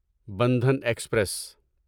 Bandhan express